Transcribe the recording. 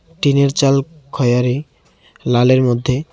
টিনের চাল খয়ারী লালের মধ্যে।